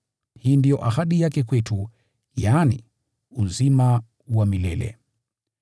Hii ndiyo ahadi yake kwetu, yaani, uzima wa milele.